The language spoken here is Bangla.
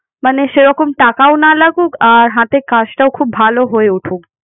মানে সেরকম টাকাও না লাগুক। আর হাতে কাজটাও খুব ভালো হয়ে উঠুক